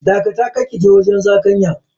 Dakata, kar kije wajen zakanyan.